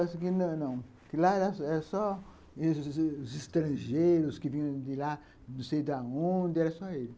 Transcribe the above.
Falava que não, que lá era só os estrangeiros que vinham de lá, não sei de onde, era só eles.